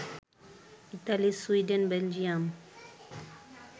Italy, Sweden, Belgium